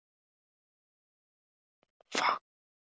Og ég færði þeim blóm við opnunina.